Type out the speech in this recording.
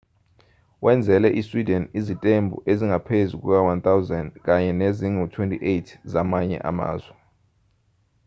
wenzele isweden izitembu ezingaphezu kuka-1,000 kanye nezingu-28 zamanye amazwe